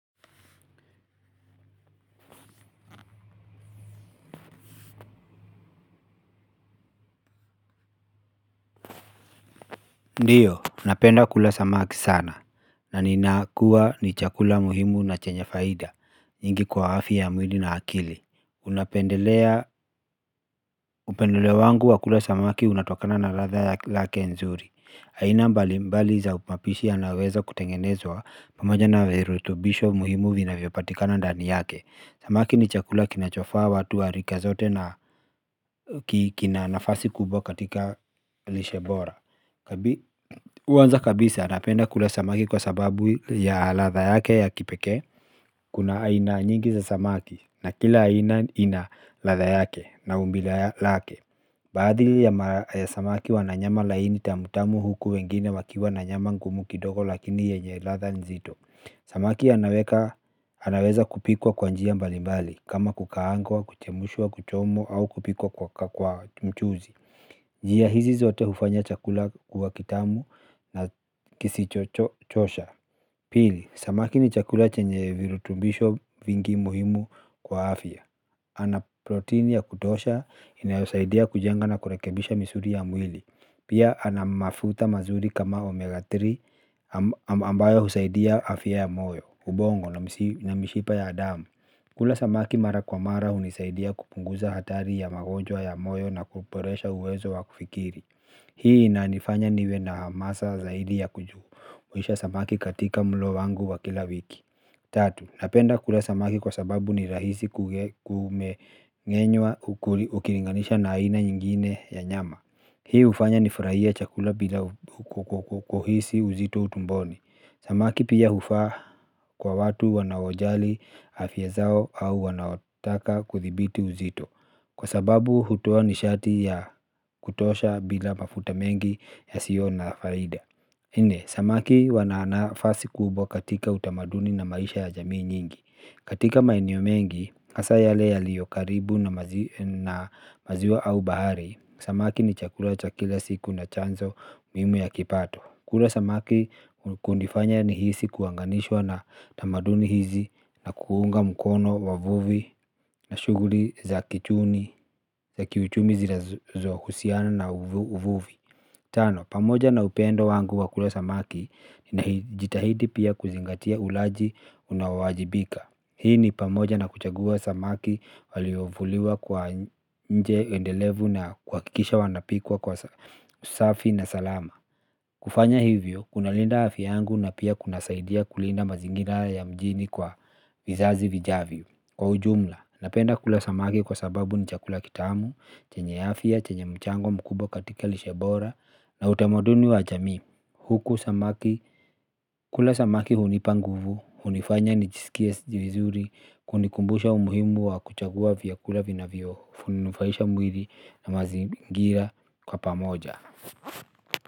Ndiyo, napenda kula samaki sana. Na ninakuwa ni chakula muhimu na chenye faida nyingi kwa afya ya mwilii na akili. Unapendelea, upendeleo wangu wa kula samaki unatokana na ladha yake lake nzuri aina mbali mbali za upapishi yanaweza kutengenezwa. Pamoja na virutubisho muhimu vinavyopatikana ndani yake samaki ni chakula kinachofaa watu wa rika zote na kina nafasi kubwa katika lishe bora kwanza kabisa napenda kula samaki kwa sababu ya latha yake ya kipekee. Kuna aina nyingi za samaki na kila aina ina ladha yake na umbila lake. Baadhi ya samaki wana nyama laini tamu tamu huku wengine wakiwa na nyama ngumu kidogo lakini yenye ladha nzito. Samaki anaweza kupikwa kwa njia mbali mbali kama kukaangwa, kuchemushwa, kuchomwa au kupikwa kwa mchuzi. Njia hizi zote hufanya chakula kuwa kitamu na kisichochosha. Pili, samaki ni chakula chenye virutubisho vingi muhimu kwa afya. Ana proteini ya kutosha inayosaidia kujenga na kurekebisha misuli ya mwili. Pia ana mafuta mazuri kama omega tatu ambayo husaidia afya ya moyo, ubongo na na mishipa ya damu. Kula samaki mara kwa mara hunisaidia kupunguza hatari ya magonjwa ya moyo na kuboresha uwezo wa kufikiri. Hii inanifanya niwe na hamasa zaidi ya kuju. Huisha samaki katika mlo wangu wa kila wiki. Tatu. Napenda kula samaki kwa sababu ni rahisi kumeng'enywa ukilinganisha na aina nyingine ya nyama. Hii hufanya nifurahie chakula bila kuhisi uzito tumboni. Samaki pia hufaa kwa watu wanaojali afya zao au wanaotaka kuthibiti uzito. Kwa sababu hutoa nishati ya kutosha bila mafuta mengi yasio na faida nne, samaki wana nafasi kubwa katika utamaduni na maisha ya jamii nyingi. Katika maeneo mengi, hasa yale yaliyo karibu na maziwa au bahari samaki ni chakula cha kila siku na chanzo muhimu ya kipato. Kula samaki kunifanya nihisi kuanganishwa na tamaduni hizi na kuunga mkono wa vuvi na shughuli za kichuni, za kiuchumi zinazohusiana na uvuvi. Tano, pamoja na upendo wangu wa kula samaki najitahidi pia kuzingatia ulaji unaowajibika. Hii ni pamoja na kuchagua samaki waliovuliwa kwa njia endelevu na kuhakikisha wanapikwa kwa usafi na salama. Kufanya hivyo, kunalinda aya yangu na pia kunasaidia kulinda mazingira ya mjini kwa vizazi vijavyo. Kwa ujumla, napenda kula samaki kwa sababu ni chakula kitamu, chenye afya chenye mchango mkubwa katika lishe bora na utamaduni wa jamii huku samaki, kula samaki hunipa nguvu, hunifanya nijisikie vizuri hunikumbusha umuhimu wa kuchagua vyakula vinavyo, nufaisha mwili na mazingira kwa pamoja.